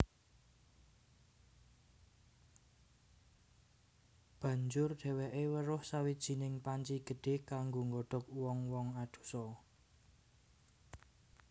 Banjur dhèwèké weruh sawijining panci gedhé kanggo nggodhog wong wong adosa